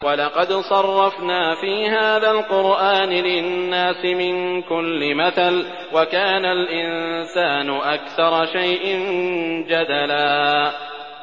وَلَقَدْ صَرَّفْنَا فِي هَٰذَا الْقُرْآنِ لِلنَّاسِ مِن كُلِّ مَثَلٍ ۚ وَكَانَ الْإِنسَانُ أَكْثَرَ شَيْءٍ جَدَلًا